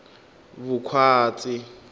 vukhwatsi